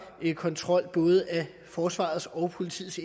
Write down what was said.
kontrol af både forsvarets og politiets